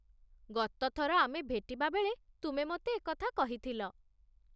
ଗତଥର ଆମେ ଭେଟିବା ବେଳେ ତୁମେ ମୋତେ ଏକଥା କହିଥିଲ।